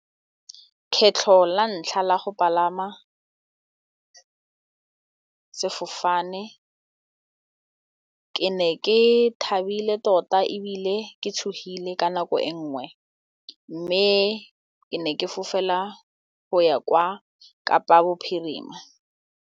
Kgetlho la ntlha la go palama sefofane ke ne ke thabile tota ebile ke tshogile ka nako e nngwe mme ke ne ke fofela go ya kwa Kapa Bophirima.